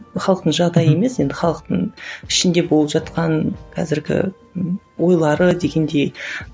халықтың жағдайы емес енді халықтың ішінде болып жатқан қазіргі ойлары дегендей